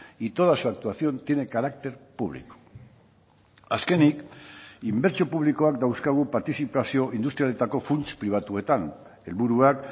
y toda su actuación tiene carácter público azkenik inbertsio publikoak dauzkagu partizipazio industrialetako funts pribatuetan helburuak